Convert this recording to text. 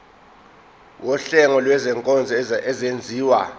wuhlengo lwezinkonzo ezenziwa